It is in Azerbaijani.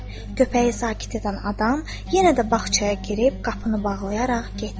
Köpəyi sakit edən adam yenə də bağçaya girib qapını bağlayaraq getdi.